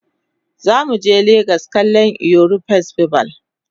zamu je legas kallan eyo festival